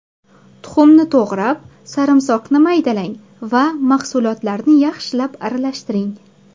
Tuxumni to‘g‘rab, sarimsoqni maydalang va mahsulotlarni yaxshilab aralashtiring.